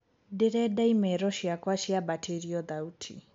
ndĩrenda imero cĩakwa ciambatirwo thaũtĩ